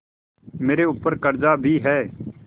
मेरे ऊपर कर्जा भी है